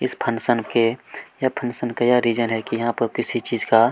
इस फंक्शन के यह फंक्शन का यह रीज़न है कि यहाँ पर किसी चीज का--